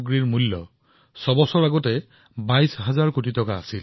ছয় বছৰ পূৰ্বে আয়ুৰ্বেদ সম্পৰ্কীয় ঔষধৰ বজাৰ আছিল প্ৰায় ২২ হাজাৰ কোটি টকাৰ